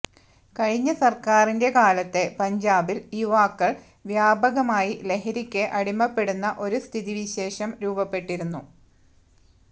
കഴിഞ്ഞ സർക്കാരിന്റെ കാലത്ത് പഞ്ചാബിൽ യുവാക്കൾ വ്യാപകമായി ലഹരിക്ക് അടിമപ്പെടുന്ന ഒരു സ്ഥിതി വിശേഷം രൂപപ്പെട്ടിരുന്നു